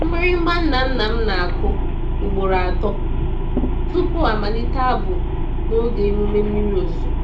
Mgbịrịgba nna nna m na-akụ ugboro atọ tupu a malite abụ n'oge emume mmiri ozuzo.